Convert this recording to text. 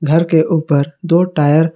घर के ऊपर दो टायर --